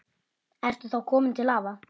Ertu þá kominn til afa?